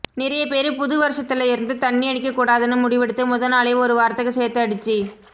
நிறைய பேரு புது வருஷத்துல இருந்து தண்ணி அடிக்ககூடாதுன்னு முடிவெடுத்து முத நாளே ஒரு வாரத்துக்கு சேத்து அடிச்சி